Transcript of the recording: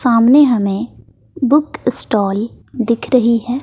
सामने हमें book stall दिख रही है।